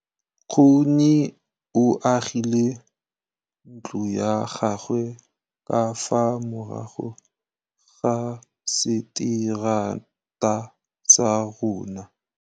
Nkgonne o agile ntlo ya gagwe ka fa morago ga seterata sa rona.